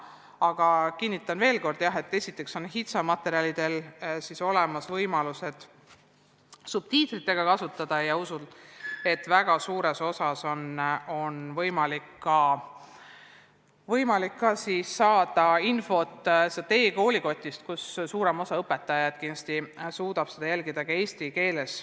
Aga kinnitan veel kord, et esiteks on HITSA materjalide puhul olemas võimalus kasutada subtiitreid, ja usun, et väga palju infot on võimalik saada ka e-koolikotist, kus pakutavat suudab suurem osa õpetajaid kindlasti jälgida ka eesti keeles.